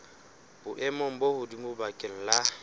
boemong bo hodimo bakeng la